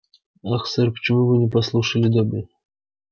ах сэр почему вы не послушали добби